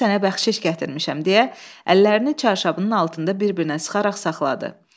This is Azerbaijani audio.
Bunu sənə bəxşiş gətirmişəm deyə əllərini çarşabının altında bir-birinə sıxaraq saxladı.